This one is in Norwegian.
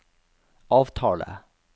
avtale